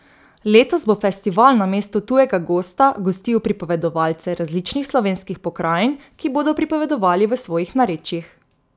Letos bo festival namesto tujega gosta gostil pripovedovalce različnih slovenskih pokrajin, ki bodo pripovedovali v svojih narečjih.